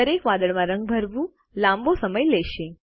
દરેક વાદળમાં રંગ ભરવું લાંબો સમય લેશે